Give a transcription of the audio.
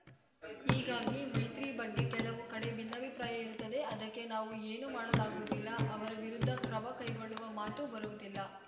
ಹೀಗಾಗಿ ಮೈತ್ರಿ ಬಗ್ಗೆ ಕೆಲವು ಕಡೆ ಭಿನ್ನಾಭಿಪ್ರಾಯ ಇರುತ್ತದೆ ಅದಕ್ಕೆ ನಾವು ಏನೂ ಮಾಡಲಾಗುವುದಿಲ್ಲ ಅವರ ವಿರುದ್ಧ ಕ್ರಮ ಕೈಗೊಳ್ಳುವ ಮಾತು ಬರುವುದಿಲ್ಲ